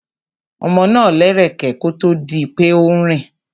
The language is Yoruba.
Ọmọ náà lẹ́rẹ̀kẹ́ kó tó di pé ó ń rìn.